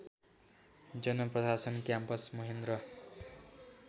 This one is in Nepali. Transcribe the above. जनप्रशासन क्याम्पस महेन्द्र